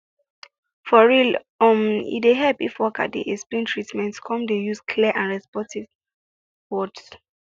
for real um e dey help if worker dey explain treatment come dey use clear and respectful words